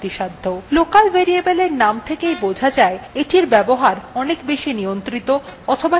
local variables এর name থেকেই বোঝা যায় এটির ব্যবহার বেশি নিয়ন্ত্রিত অথবা সীমিত